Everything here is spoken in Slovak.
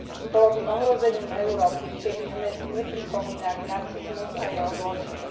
Bolo by ohrozením Európy, keby sme nepripomínali nacizmus a jeho zločiny.